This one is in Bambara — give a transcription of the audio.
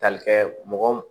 Tali kɛ mɔgɔ